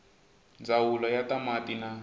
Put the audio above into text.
ndzawulo ya ta mati na